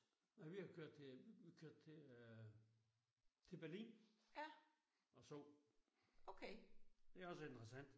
Nej vi har kørt til vi kørte til øh til Berlin og sov. Det også interessant